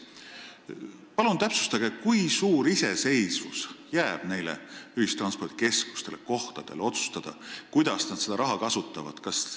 Palun täpsustage, kui suur iseseisvus jääb neile ühistranspordikeskustele kohapeal otsustada, kuidas nad seda raha kasutavad!